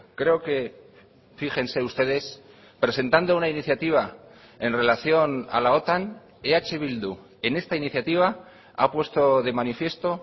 creo que fíjense ustedes presentando una iniciativa en relación a la otan eh bildu en esta iniciativa ha puesto de manifiesto